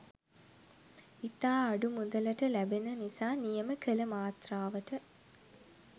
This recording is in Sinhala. ඉතා අඩුමුදලට ලැබෙන නිසා නියම කල මාත්‍රාවට